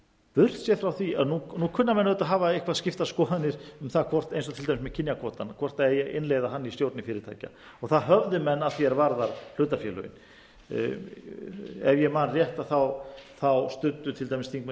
burt séð frá því að nú kunna menn auðvitað að hafa eitthvað skiptar skoðanir um það eins og með kynjakvótann hvort eigi að innleiða hann í stjórnir fyrirtækja það höfðu menn að því er varðar hlutafélögin ef ég man rétt þá studdu til dæmis þingmenn